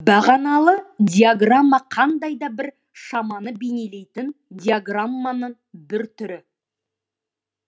бағаналы диаграмма қандай да бір шаманы бейнелейтін диаграмманың бір түрі